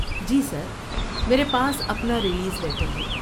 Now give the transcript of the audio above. جی sir, میرے پاس اپنا ریلیز لیٹر ہے۔